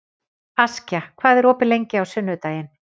Askja, hvað er opið lengi á sunnudaginn?